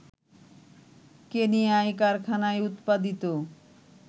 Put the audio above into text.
কেনিয়ায় কারখানায় উৎপাদিত